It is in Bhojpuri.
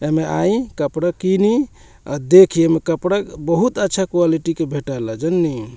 एमें आईं कपड़ा किनी आ देखीं एमें कपड़ा बहुत अच्छा क्वालिटी के भेटाएला जाननी।